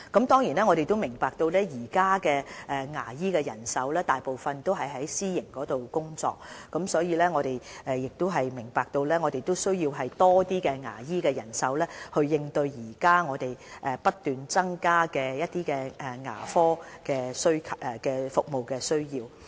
當然，我們明白現時牙醫人手大部分是在私營市場工作，而我們亦需要更多牙醫人手以應對現時不斷增加的牙科服務需求。